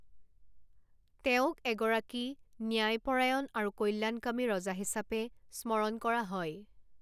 তেওঁক এগৰাকী ন্যায়পৰায়ণ আৰু কল্যাণকামী ৰজা হিচাপে স্মৰণ কৰা হয়।